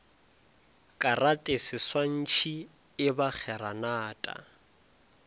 karate seswantšhi e ba kgeranata